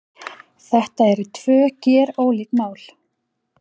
Þetta eru tvö gerólík mál